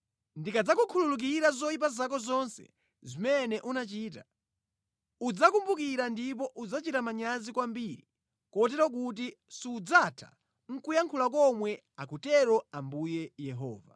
Ndikadzakukhululukira zoyipa zako zonse zimene unachita, udzazikumbukira ndipo udzachita manyazi kwambiri, kotero kuti sudzatha nʼkuyankhula komwe, akutero Ambuye Yehova.’ ”